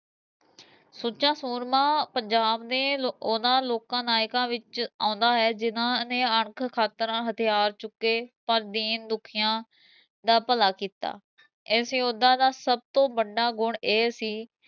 ਸੁੱਚਾ ਸੂਰਮਾ ਪੰਜਾਬ ਦੇ ਉਹਨਾ ਲੋਕਾ ਨਾਇਕਾ ਵਿਚ ਆਉਂਦਾ ਹੈ ਜਿਨ੍ਹਾ ਨੇ ਅਣਖ ਖਾਤਰਾ ਹਥਿਆਰ ਚੁੱਕੇ ਪਰ ਦੀਨ ਦੁਖੀਆ ਦਾ ਭਲਾ ਕੀਤਾ, ਇਸ ਯੋਧਾ ਦਾ ਸਭ ਤੋਂ ਵੱਡਾ ਗੁਣ ਇਹ ਸੀ